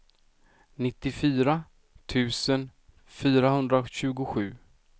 nittiofyra tusen fyrahundratjugosju